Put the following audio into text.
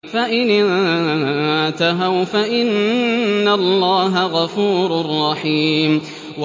فَإِنِ انتَهَوْا فَإِنَّ اللَّهَ غَفُورٌ رَّحِيمٌ